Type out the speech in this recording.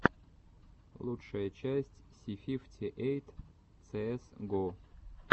лучшая часть си фифти эйт цээс го